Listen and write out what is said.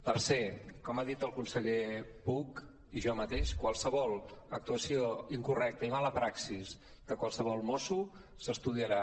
tercer com ha dit el conseller buch i jo mateix qualsevol actuació incorrecta i mala praxis de qualsevol mosso s’estudiarà